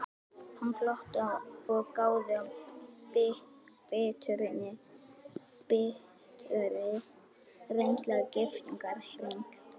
Hann glotti og gáði af biturri reynslu að giftingarhring.